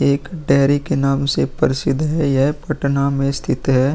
एक डेयरी के नाम से प्रसिद्ध है यह पटना में स्थित है।